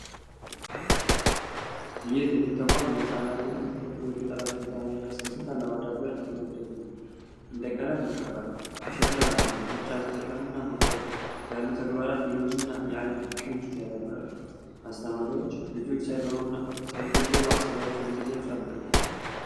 ይህ የትምህርት ተቋም የህፃናትን የተፈጥሮ የፈጠረና ችሎታ ለመቀስቀስ እና ለማዳበር የተነደፉ ነው። እንደቀለም መቀባት፣ ከሸክላ መስራት፣ ሙጫ መጠቀም እና መቁረጥ ያሉ ተግባራት የእጅ እና የአይን የቅንጅትን ያዳብራሉ። አስተማሪዎች ልጆች ሳይፈሩና ሳይገደቡ ሃሳባቸውን እንዲገልፁ ያበረታታሉ።